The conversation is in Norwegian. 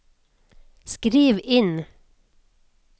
skriv inn